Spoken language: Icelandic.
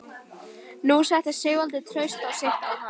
Nú setti Sigvaldi traust sitt á hann.